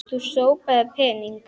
Þú sópaðir pening.